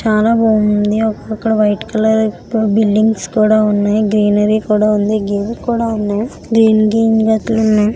చాలా బాగుంది. అక్కడ వైట్ కలర్ బిల్డింగ్స్ కూడా ఉన్నాయి. గ్రీనరీ కూడా ఉంది. చెక్ కూడ ఉన్నాయి.